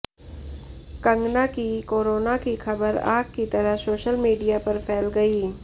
कंगना की कोरोना की खबर आग की तरह सोशल मीडिया पर फैल गई